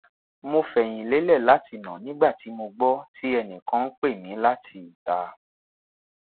mo fẹyin lelẹ lati na nigba ti mo gbọ ti ẹnikan n pe mi lati ita